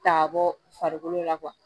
Ta ka bɔ farikolo la